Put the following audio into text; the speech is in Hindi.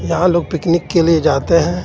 यहाँ लोग पिकनिक के लिए जाते हे.